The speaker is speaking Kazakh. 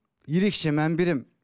ерекше мән беремін